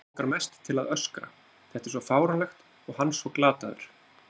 Langar mest til að öskra, þetta er svo fáránlegt og hann svo glataður.